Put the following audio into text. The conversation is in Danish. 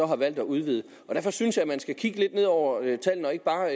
har valgt at udvide derfor synes jeg at man skal kigge lidt ned over tallene og ikke bare